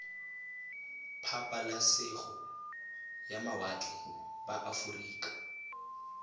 pabalesego ya mawatle ba aforika